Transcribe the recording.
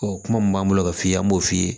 Ɔ kuma min b'an bolo ka f'i ye an b'o f'i ye